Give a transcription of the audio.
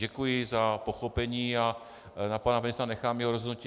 Děkuji za pochopení a na panu ministrovi nechám jeho rozhodnutí.